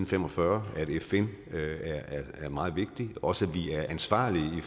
fem og fyrre at fn er meget vigtig også at vi er ansvarlige i